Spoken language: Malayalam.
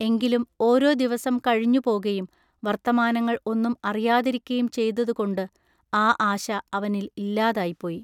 എങ്കിലും ഓരൊ ദിവസം കഴിഞ്ഞുപൊകയും വൎത്തമാനങ്ങൾ ഒന്നും അറിയാതിരിക്കയും ചെയ്തതുകൊണ്ടു ആ ആശ അവനിൽ ഇല്ലാതായിപ്പോയി.